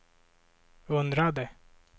undrade